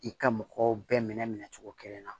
I ka mɔgɔw bɛɛ minɛ cogo kelen na